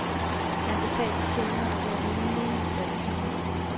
Han betalte tjeneren og gav rimelige drikkepenge.